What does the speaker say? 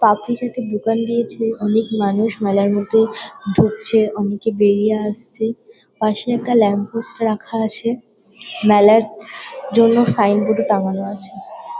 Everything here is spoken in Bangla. পাঁপড়ি চাট -এর দোকান দিয়েছে অনেক মানুষ মেলার মধ্যে ঢুকছে অনেকে বেরিয়ে আসছে পাশে একটা ল্যাম্প পোস্ট রাখা আছে মেলার জন্য সাইন বোর্ড -ও টাঙানো আছে।